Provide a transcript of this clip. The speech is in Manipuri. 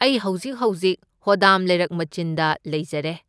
ꯑꯩ ꯍꯧꯖꯤꯛ ꯍꯧꯖꯤꯛ ꯍꯣꯗꯥꯝ ꯂꯩꯔꯛ ꯃꯆꯤꯟꯗ ꯂꯩꯖꯔꯦ꯫